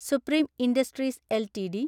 supreme industries LTD